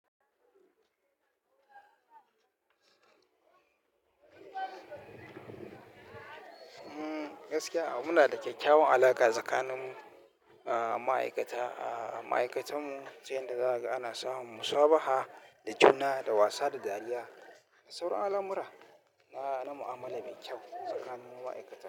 Mm gaskiya muna da kyakkyawan alaƙa tsakanin mu, a ma'aikata. A ma'aikatanmu, sai da daga ana samun musabaha da juna, da wasa, da dariya. Saura alamura na, na mu'amala mai kyau tsakanin ma'aikata.